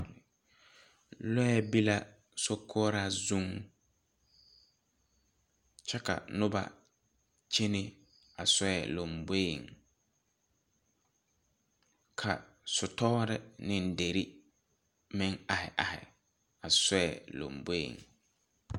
Lɔɛ be la sokoura zung kye ka nuba kyene a sɔɛ lɔmboɛ ka sutore ne deri meng arẽ arẽ a sɔɛ lɔmboɛ.